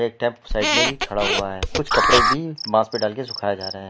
एक साइड में भी खड़ा हुआ है कुछ कपड़े भी बांस पे डाल के सुखाया जा रहा है।